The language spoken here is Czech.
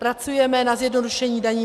Pracujeme na zjednodušení daní.